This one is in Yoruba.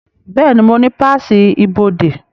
Bẹ́ẹ̀ni, mo ní páàsì ibodè